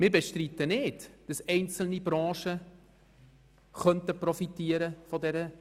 Wir bestreiten überhaupt nicht, dass einzelne Branchen von dieser Reform profitieren könnten.